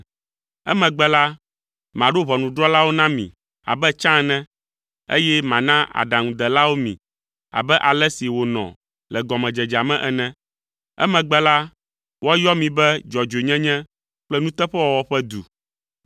Emegbe la, maɖo ʋɔnudrɔ̃lawo na mi abe tsã ene, eye mana aɖaŋudelawo mi abe ale si wònɔ le gɔmedzedzea me ene. Emegbe la, woayɔ mi be Dzɔdzɔenyenye kple Nuteƒewɔwɔ ƒe Du.”